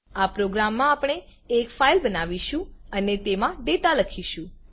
આ પ્રોગ્રામ માં આપણે એક ફાઈલ બનાવીશું અને તેમાં ડેટા લખીશું